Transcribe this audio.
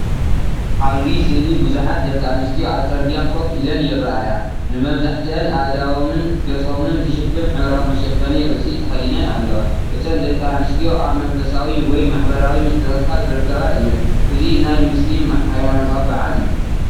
ኣብዚ ስእሊ ቡዝሓት ደቂ ኣንስትዮ ኣብ ጽርግያ ኮፍ ኢለን ይርኣያ። ንመብዛሕትአን ኣእዳዎምን ገጾምን ዝሽፍን ሕብራዊ መሸፈኒ ርእሲ ተኸዲነን ኣለዋ። እተን ደቂ ኣንስትዮ ኣብ መንፈሳዊ ወይ ማሕበራዊ ምትእኽኻብ ዝርከባ እየን። እዚ ናይ ሙስሊም ሃይማኖታዊ በዓል እዩ።